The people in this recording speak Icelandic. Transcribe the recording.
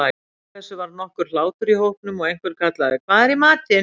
Af þessu varð nokkur hlátur í hópnum og einhver kallaði:-Hvað er í matinn?